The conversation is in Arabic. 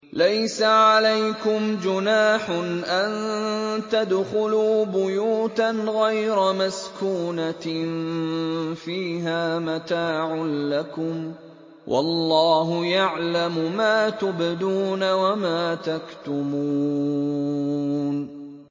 لَّيْسَ عَلَيْكُمْ جُنَاحٌ أَن تَدْخُلُوا بُيُوتًا غَيْرَ مَسْكُونَةٍ فِيهَا مَتَاعٌ لَّكُمْ ۚ وَاللَّهُ يَعْلَمُ مَا تُبْدُونَ وَمَا تَكْتُمُونَ